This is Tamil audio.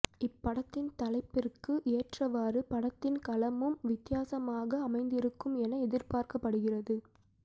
இப்படத்தின் தலைப்பிற்கு ஏற்றவாரு படத்தின் களமும் வித்யாசமாக அமைந்திருக்கும் என எதிர்பார்க்கப்படுகிறது